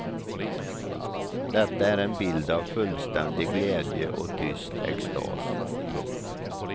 Detta är en bild av fullständig glädje och tyst extas. punkt